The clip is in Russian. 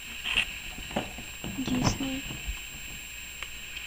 дисней